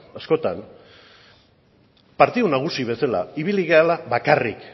askotan partidu nagusi bezala ibili garela bakarrik